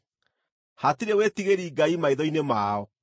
“Hatirĩ wĩtigĩri Ngai maitho-inĩ mao.”